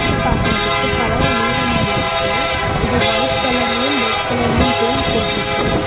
இது பாக்குறதுக்கு பழைய வீடு மாரி இருக்கு இது ஒயிட் கலர்லயும் ரெட் கலர்லயும் பெயிண்ட் போட்ருக்கு.